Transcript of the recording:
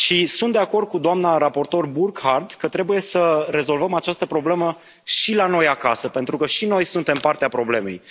Sunt de acord cu doamna raportor Burkhardt că trebuie să rezolvăm această problemă și la noi acasă, pentru că și noi suntem parte a problemei.